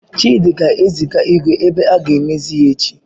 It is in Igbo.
Chidi ga-eziga igwe ebe aga amezie echi.